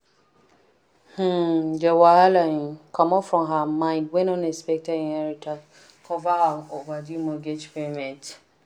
um the wahala um comot from her mind when unexpected inheritance cover her overdue mortgage payments.